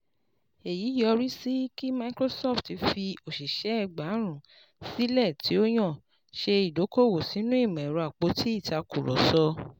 Èyí yọrí sí kí Microsoft fi òṣìṣẹ́ egbààrún sílẹ̀ tí ó yàn ṣe ìdókòwò sínú ìmọ̀ ẹ̀rọ àpótí ìtàkùrọ̀sọ.